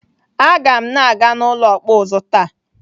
Aga m na-aga n'ụlọ ọkpụ ụzụ taa.